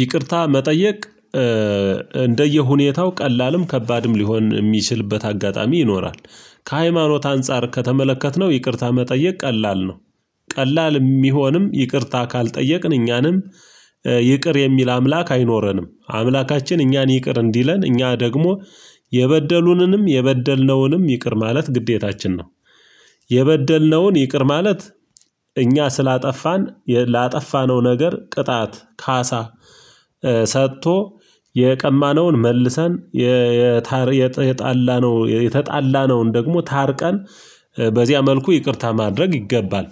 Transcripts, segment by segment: ይቅርታ መጠየቅ እንደየሁኔታው ቀላልም ከባድም ሊሆን የሚችልበት አጋጣሚ ይኖራል። ከሃይማኖት አንፃር ከተመለከትነው ይቅርታ መጠየቅ ቀላል ነው። ቀላል የሚሆንም ይቅርታ ካልጠየቅን እኛንም ይቅር የሚል አምላክ አይኖረንም። አምላካችን እኛን ይቅር እንዲለን እኛ ደግሞ የበደሉንንም የበደልነውንም ይቅር ማለት ግዴታችን ነው። የበደልነውን ይቅር ማለት እኛ ስላጠፋን ላጠፋነው ነገር ቅጣት ካሳ ሰጥቶ የቀማነውን መልሰን የታር የተጣላነው የተጣላነውን ደግሞ ታርቀን በዚያ መልኩ ይቅርታ ማድረግ ይገባል።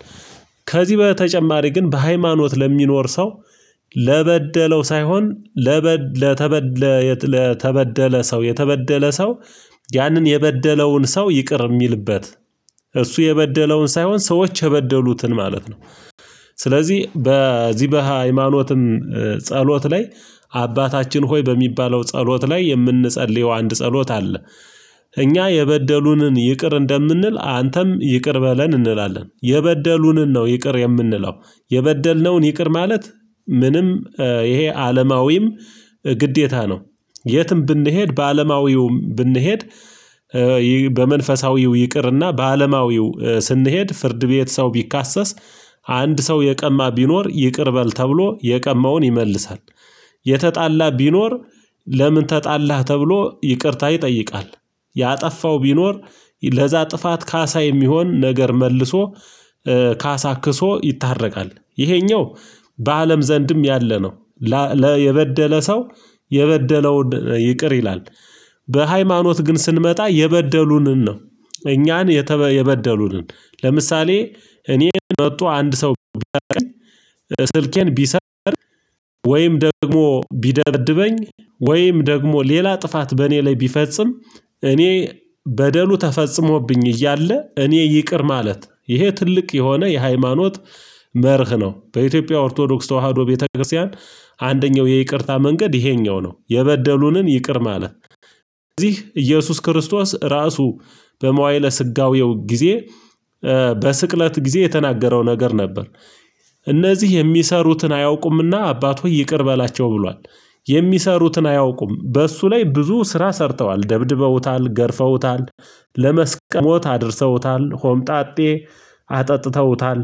ከዚህ በተጨማሪ ግን በሃይማኖት ለሚኖር ሰው ለበደለው ሳይሆን ለበ ለተበ ለተበደለ ሰው የተበደለ ሰው ያንን የበደለውን ሰው ይቅር የሚልበት እሱ የበደለውን ሳይሆን ሰዎች የበደሉትን ማለት ነው። ስለዚህ በዚህ በሃይማኖትም ጸሎት ላይ አባታችን ሆይ በሚባለው ጸሎት ላይ የምንጸልየው አንድ ጸሎት አለ። እኛ የበደሉንን ይቅር እንደምንል አንተም ይቅር በለን እንላለን። የበደሉንን ነው ይቅር የምንለው የበደልነውን ይቅር ማለት ምንም ይሄ አለማዊም ግዴታ ነው። የትም ብንሄድ በአለማዊውም ብንሄድ በመንፈሳዊው ይቅርና በአለማዊው ስንሄድ ፍርድ ቤት ሰው ቢካሰስ አንድ ሰው የቀማ ቢኖር ይቅር በል ተብሎ የቀማውን ይመልሳል። የተጣላ ቢኖር ለምን ተጣላህ ተብሎ ይቅርታ ይጠይቃል። ያጠፋው ቢኖር ለዛ ጥፋት ካሳ የሚሆን ነገር መልሶ ካሳ ክሶ ይታረቃል። ይሄኛው በአለም ዘንድም ያለ ነው። ላ ለ የበደለ ሰው የበደለውን ይቅር ይላል። በሃይማኖት ግን ስንመጣ የበደሉንን ነው እኛን የተ የበደሉንን ለምሳሌ እኔ መጥቶ አንድ ሰው ቢያንቀኝ ስልኬን ቢሰርቅ ወይም ደግሞ ቢደበድበኝ ወይም ደግሞ ሌላ ጥፋት በእኔ ላይ ቢፈጽም እኔ በደሉ ተፈጽሞብኝ እያለ እኔ ይቅር ማለት ይሄ ትልቅ የሆነ የሃይማኖት መርህ ነው። በኢትዮጵያ ኦርቶዶክስ ተዋህዶ ቤተክርስቲያን አንደኛው የይቅርታ መንገድ ይሄኛው ነው። የበደሉንን ይቅር ማለት እዚህ ኢየሱስ ክርስቶስ ራሱ በመዋይለ ስጋዌው ጊዜ በስቅለት ጊዜ የተናገረው ነገር ነበር። እነዚህ የሚሰሩትን አያውቁምና አባት ሆይ ይቅር በላቸው ብሏል። የሚሰሩትን አያውቁም በእሱ ላይ ብዙ ስራ ሰርተዋል ደብድበውታል፣ ገረፈውታል፣ ለመስቀል ለሞት አድርሰውታል ሆምጣጤ አጠጥተውታል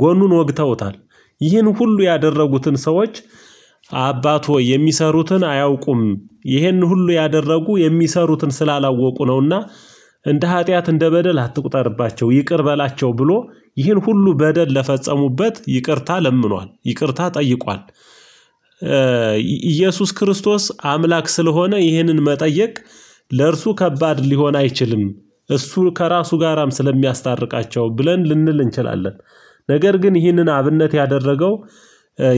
ጎኑን ወግተውታል። ይህን ሁሉ ያደረጉትን ሰዎች አባት ሆይ የሚሰሩትን አያውቁም ይህን ሁሉ ያደረጉ የሚሰሩትን ስላላወቁ ነውና እንደ ኃጢአት እንደ በደል አትቁጠርባቸው ይቅር በላቸው ብሎ ይህን ሁሉ በደል ለፈጸሙበት ይቅርታ ለምኗል ይቅርታ ጠይቋል። ኢየሱስ ክርስቶስ አምላክ ስለሆነ ይህንን መጠየቅ ለእርሱ ከባድ ሊሆን አይችልም። እሱ ከራሱ ጋራም ስለሚያስታርቃቸው ብለን ልንል እንችላለን፤ ነገር ግን ይህንን አብነት ያደረገው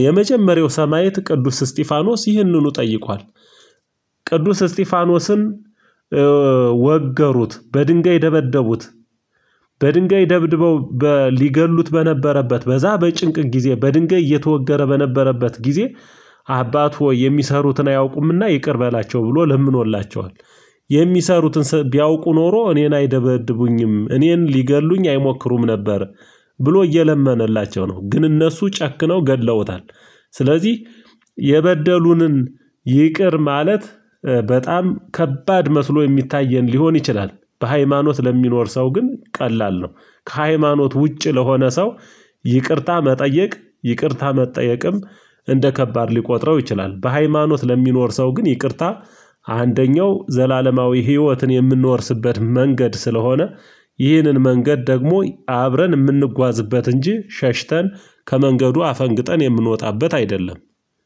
የመጀመሪያው ሰማዕት ቅዱስ እስጢፋኖስ ይህንኑ ጠይቋል። ቅዱስ እስጢፋኖስን ወገሩት በድንጋይ ደበደቡት በድንጋይ ደብድበው ሊገድሉት በነበረበት በዛ በጭንቅ ጊዜ በድንጋይ እየተወገረ በነበረበት ጊዜ አባት ሆይ የሚሰሩትን አያውቁምና ይቅር በላቸው ብሎ ለምኖላቸዋል የሚሰሩትን ቢያውቁ ኖሮ እኔን አይደበድቡኝም እኔን ሊገድሉኝ አይሞክሩም ነበር ብሎ እየለመነላቸው ነው፤ ግን እነሱ ጨክነው ገድለውታል። ስለዚህ የበደሉንን ይቅር ማለት በጣም ከባድ መስሎ የሚታየን ሊሆን ይችላል። በሃይማኖት ለሚኖር ሰው ግን ቀላል ነው። ከሃይማኖት ውጪ ለሆነ ሰው ይቅርታ መጠየቅ ይቅርታ መጠየቅም እንደ ከባድ ሊቆጥረው ይችላል። በሃይማኖት ለሚኖር ሰው ግን ይቅርታ አንደኛው ዘላለማዊ ህይወትን የምንወርስበት መንገድ ስለሆነ ይህንን መንገድ ደግሞ አብረን የምንጓዝበት እንጂ ሸሽተን ከመንገዱ አፈንግጠን የምንወጣበት አይደለም።